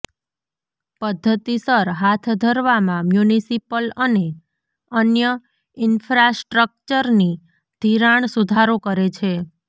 પદ્ધતિસર હાથ ધરવામાં મ્યુનિસિપલ અને અન્ય ઈન્ફ્રાસ્ટ્રક્ચરની ધિરાણ સુધારો કરે છે